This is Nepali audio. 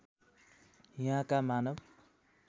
यहाँका मानव